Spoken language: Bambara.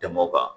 Tɛmɛ o kan